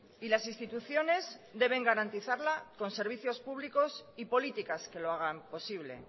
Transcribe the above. y las instituciones deben garantizarla con servicios públicos y políticas que lo hagan posible